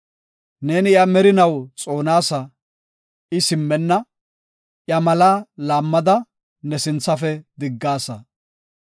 Neeni iya merinaw xoonasa; I simmenna; iya malaa laammada ne sinthafe diggaasa.